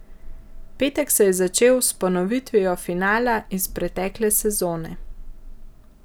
Petek se je začel s ponovitvijo finala iz pretekle sezone.